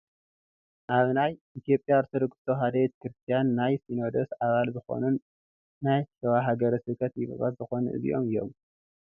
ኣብ ናይ ኢ/ያ ኦርቶዶክስ ተዋህዶ ቤተ ክርስትያን ናይ ሲኖዶስ ኣባል ዝኾኑን ናይ ሽዋ ሃገረ ስብከት ሊቀ ጳጳስ ዝኾኑ እዚኦ እዮም፡፡